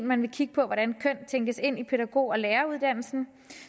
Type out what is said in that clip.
man vil kigge på hvordan køn tænkes ind i pædagog og læreruddannelsen